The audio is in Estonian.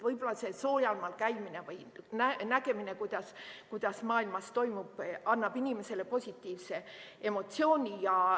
Võib-olla soojal maal käimine või nägemine, mis maailmas toimub, annab inimesele positiivse emotsiooni.